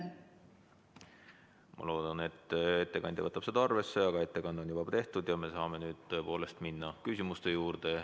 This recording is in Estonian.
Ma loodan, et ettekandja võtab seda arvesse, aga ettekanne on juba tehtud ja me saame tõepoolest minna küsimuste juurde.